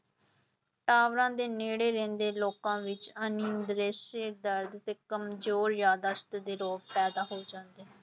ਟਾਵਰਾਂ ਦੇ ਨੇੜੇ ਰਹਿੰਦੇ ਲੋਕਾਂ ਵਿੱਚ ਦਰਦ ਤੇ ਕੰਮਜ਼ੋਰ ਯਾਦਾਸ਼ਤ ਦੇ ਰੋਗ ਪੈਦਾ ਹੋ ਜਾਂਦੇ।